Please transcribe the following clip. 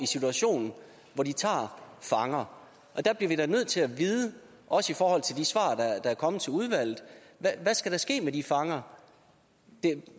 situation hvor de tager fanger og der bliver vi da nødt til at vide også i forhold til de svar der er kommet til udvalget hvad der skal ske med de fanger